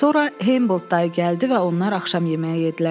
Sonra Hamboldt dayı gəldi və onlar axşam yeməyi yedlər.